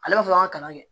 Ale bɛ fɛ k'an ka kalan kɛ